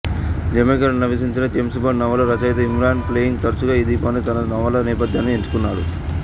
జమైకాలో నివసించిన James Bond నవలా రచయిత ఇయాన్ ఫ్లెమింగ్ తరచుగా ఈ ద్వీపాన్ని తన నవలా నేపథ్యానికి ఎంచుకున్నాడు